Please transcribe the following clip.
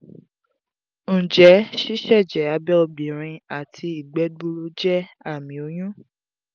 njẹ siseje abẹ obinrin ati igbe gbuuru jẹ ami oyun?